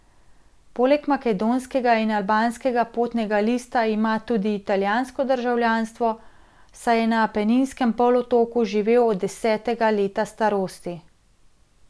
Poleg makedonskega in albanskega potnega lista ima tudi italijansko državljanstvo, saj je na Apeninskem polotoku živel od desetega leta starosti.